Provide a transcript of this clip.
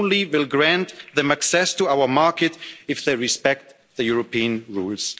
markets. We only will grant them access to our market if they respect the European